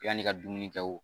Yanni i ka dumuni kɛ wo